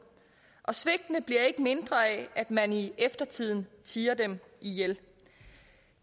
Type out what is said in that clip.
og svigtene bliver ikke mindre af at man i eftertiden tier dem ihjel